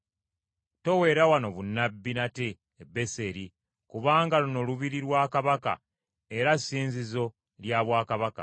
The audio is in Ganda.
Toweera wano bunnabbi nate e Beseri kubanga luno lubiri lwa kabaka era ssinzizo lya bwakabaka.”